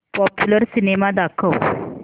popular cinema दाखव